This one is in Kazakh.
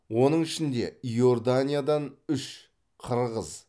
оның ішінде иорданиядан үш қырғыз